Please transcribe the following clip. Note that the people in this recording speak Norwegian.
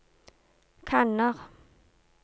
kanner